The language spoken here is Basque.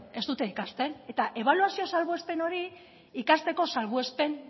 ez dute ikasten eta ebaluazio salbuespen hori ikasteko salbuespen